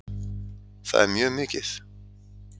Það er mjög mikið